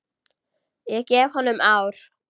Ég gef honum ár.